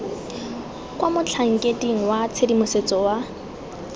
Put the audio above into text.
kwa motlhankeding wa tshedimosetso wa